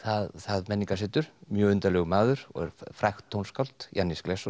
það menningarsetur mjög undarlegur maður og er frægt tónskáld Jannis